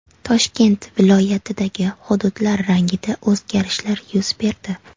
Toshkent viloyatidagi hududlar rangida o‘zgarishlar yuz berdi.